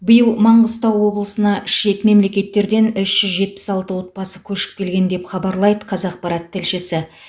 биыл маңғыстау облысына шет мемлекеттерден үш жүз жетпіс алты отбасы көшіп келген деп хабарлайды қазақпарат тілшісі